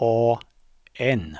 A N